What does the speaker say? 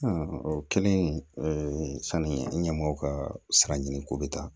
o kɛlen sanni ɲɛmɔgɔ ka sara ɲini ko bɛ taa